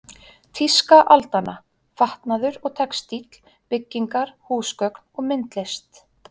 Tíska aldanna: Fatnaður og textíll, byggingar, húsgögn og myndlist.